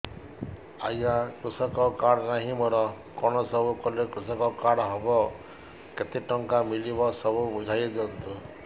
ଆଜ୍ଞା କୃଷକ କାର୍ଡ ନାହିଁ ମୋର କଣ ସବୁ କଲେ କୃଷକ କାର୍ଡ ହବ କେତେ ଟଙ୍କା ମିଳିବ ସବୁ ବୁଝାଇଦିଅନ୍ତୁ